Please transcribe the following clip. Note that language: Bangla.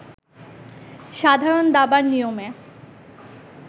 সাধারণ দাবার নিয়মে